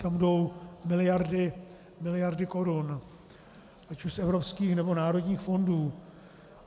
Tam jdou miliardy korun, ať už z evropských, nebo národních fondů.